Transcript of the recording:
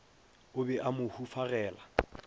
o be a mo hufagela